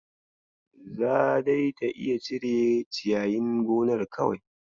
Za dai ta iya cire ciyayin gonar kawai.